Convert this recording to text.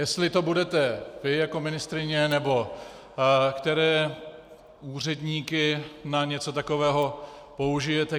Jestli to budete vy jako ministryně, nebo které úředníky na něco takového použijete?